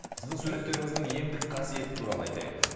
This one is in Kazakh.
сіздің суреттеріңіздің емдік қасиеті туралы айтайық енді